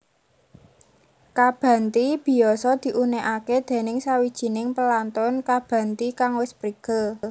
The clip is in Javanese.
Kabhanti biyasa diunekake déning sawijining pelantun kabhanti kang wis prigel